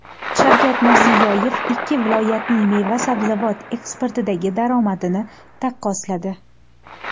Shavkat Mirziyoyev ikki viloyatning meva-sabzavot eksportidagi daromadini taqqosladi.